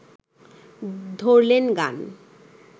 ধরলেন গান